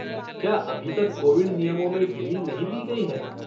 क्या अभी तक कोविड नियमों में ढील नहीं दी गई है?